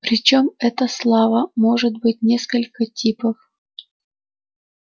причём эта слава может быть несколько типов